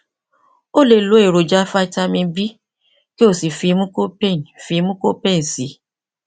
o lè lo èròjà vitamin b kí o sì fi mucopain fi mucopain sí i